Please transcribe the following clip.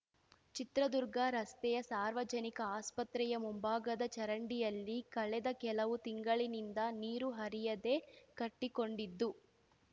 ಚಿತ್ರದುರ್ಗ ರಸ್ತೆಯ ಸಾರ್ವಜನಿಕ ಆಸ್ಪತ್ರೆಯ ಮುಂಭಾಗದ ಚರಂಡಿಯಲ್ಲಿ ಕಳೆದ ಕೆಲವು ತಿಂಗಳಿನಿಂದ ನೀರು ಹರಿಯದೆ ಕಟ್ಟಿಕೊಂಡಿದ್ದು